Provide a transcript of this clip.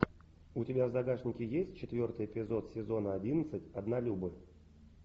у тебя в загашнике есть четвертый эпизод сезона одиннадцать однолюбы